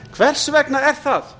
hvers vegna er það